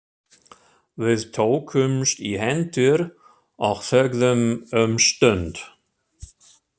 Við tókumst í hendur og þögðum um stund.